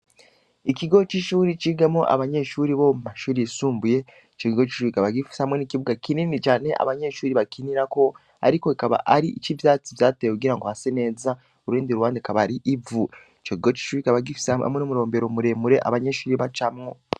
Ikigo c’ishuri cigamwo abanyeshuri bo mu mashuri yisumbuye, ico kigo c’ishuri kikaba gifise hamwe n’ikibuga kinini cane, abanyeshuri bakinirako, ariko kikaba ari ic’ivyatsi vyatewe kugira ngo hase neza, ku rundi ruhande hakaba ari ivu; ico kigo c’ishuri kikaba gifise hamwe n’umurombero muremure abanyeshuri bacamwo.